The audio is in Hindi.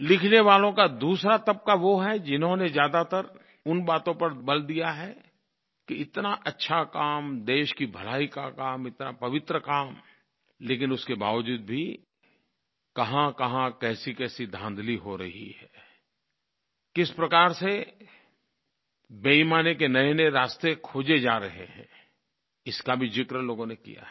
लिखने वालों का दूसरा तबक़ा वो है जिन्होंने ज्यादातर उन बातों पर बल दिया है कि इतना अच्छा काम देश की भलाई का काम इतना पवित्र काम लेकिन उसके बावजूद भी कहाँकहाँ कैसीकैसी धांधली हो रही है किस प्रकार से बेईमानी के नयेनये रास्ते खोज़े जा रहे हैं इसका भी ज़िक्र लोगों ने किया है